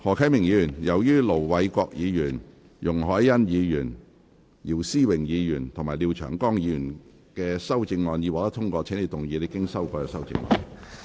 何啟明議員，由於盧偉國議員、容海恩議員、姚思榮議員及廖長江議員的修正案已獲得通過，請動議你經修改的修正案。